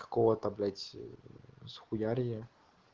кого-то блять схуярия